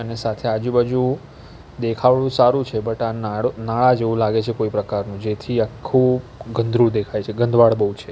અને સાથે આજુબાજુ દેખાવડું સારું છે બટ આ નાળ નાળું નાળા જેવું લાગે છે કોઈ પ્રકારનું જેથી આખુ ગંદરુ દેખાય છે ગંદવાડ બહુ છે.